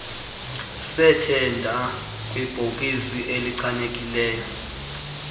sethenda kwibhokisi echanekileyo